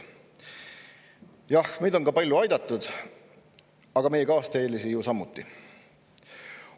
Jah, meid on ka palju aidatud, aga meie kaasteelisi ju samuti.